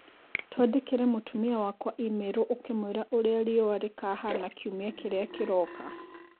Twandĩkĩre mũtumia wakwa i-mīrū ũkĩmwĩra ũrĩa riũa rĩkahana kiumia kĩrĩa kĩroka.